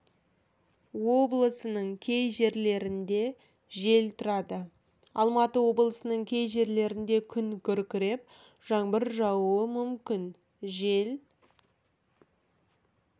облысының кей жерлерінде жел тұрады алматы облысының кей жерлерінде күн күркіреп жаңбыр жаууы мүмкін жел